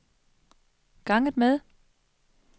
ganget med